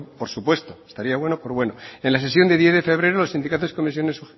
por supuesto estaría bueno por bueno en la sesión del diez de febrero los sindicatos comisiones